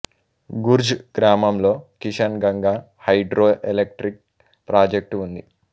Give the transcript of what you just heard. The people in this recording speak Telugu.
గుర్జ్ గ్రామంలో Kishan Ganga hydro electric project ఉంది